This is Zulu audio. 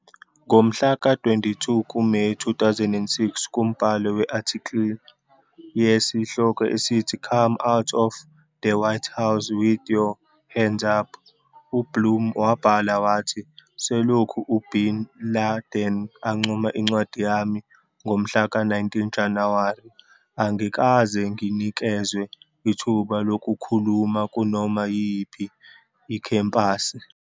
Ngomhlaka 22 kuMeyi, 2006 kumbhalo we-article yesihloko esithi, "Come Out of the White House With Your Hands Up", uBlum wabhala wathi, "Selokhu u-bin Laden ancoma incwadi yami, ngomhla ka, 19 Januwari, angikaze nginikezwe ithuba lokukhuluma kunoma yiyiphi ikhempasi....